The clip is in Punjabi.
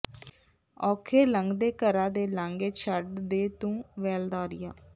ਔਖੇ ਲੰਘਦੇ ਘਰਾਂ ਦੇ ਲਾਂਘੇ ਛੱਡ ਦੇ ਤੂੰ ਵੈਲਦਾਰੀਆਂ